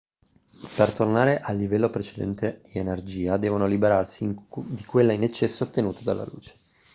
per tornare al livello precedente di energia devono liberarsi di quella in eccesso ottenuta dalla luce